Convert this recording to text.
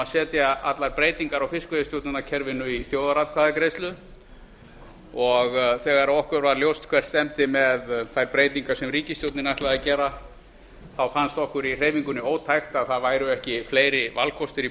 að setja allar breytingar á fiskveiðistjórnarkerfinu í þjóðaratkvæðagreiðslu og þegar okkur var ljóst hvert stefndi með þær breytingar sem ríkisstjórnin ætlaði að gera fannst okkur í hreyfingunni ótækt að það væru ekki fleiri valkostir í